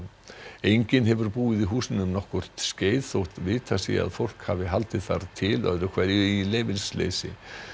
enginn hefur búið í húsinu um nokkurt skeið þótt vitað sé að fólk hafi haldið þar til öðru hverju í leyfisleysi